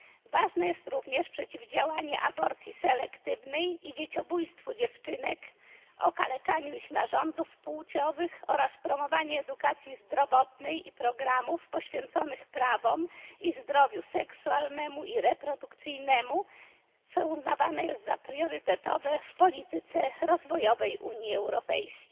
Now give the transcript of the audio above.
Ważne jest również przeciwdziałanie aborcji selektywnej, dzieciobójstwu dziewczynek i okaleczaniu ich narządów płciowych, a także promowanie edukacji zdrowotnej i programów poświęconych prawom oraz zdrowiu seksualnemu i reprodukcyjnemu, co uznawane jest za priorytetowe w polityce rozwojowej Unii Europejskiej.